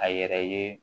A yɛrɛ ye